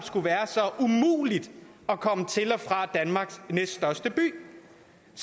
skulle være så umuligt at komme til og fra danmarks næststørste by det